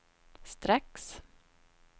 strax